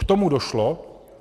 K tomu došlo.